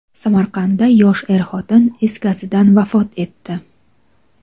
Samarqandda yosh er-xotin is gazidan vafot etdi.